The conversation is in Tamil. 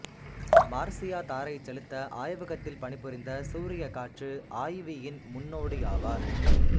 மார்சியா தாரைச் செலுத்த ஆய்வகத்தில் பணிபுரிந்த சூரியக் காற்று ஆய்வ்யின் முன்னோடியாவார்